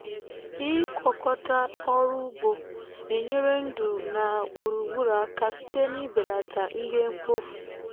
ịgwokọta ọrụ ugbo na enyere ndu na gburugburu aka site n’ibelata ihe mkpofu.